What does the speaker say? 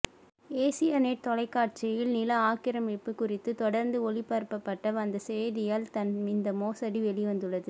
Asia net தொலைக்காட்சியில் நில ஆக்கிரமிப்பு குறித்து தொடர்ந்து ஒளிபரப்பப்பட்டு வந்த செய்தியால் தான் இந்த மோசடி வெளிவந்துள்ளது